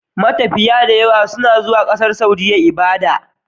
Matafiya dayawa suna zuwa ƙasar saudiya ibada